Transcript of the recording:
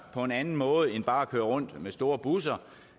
på en anden måde end bare at køre rundt med store busser